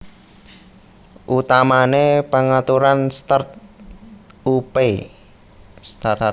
Utamané pangaturan start upé